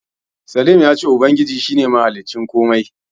Slim ya ce Ubangiji shi ne mahaliccin komai.